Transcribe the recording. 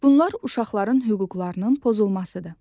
Bunlar uşaqların hüquqlarının pozulmasıdır.